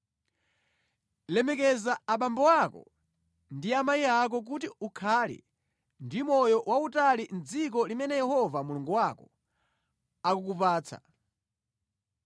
“Lemekeza abambo ako ndi amayi ako kuti ukhale ndi moyo wautali mʼdziko limene Yehova Mulungu wako akukupatsa.